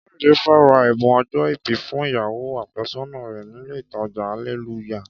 Káyọ̀dé fẹ́ ra ẹ̀bùn ọjọ́-ìbí fún ìyàwó àfẹ́sọ́nà rẹ̀ nílé ìtajà Alelúyà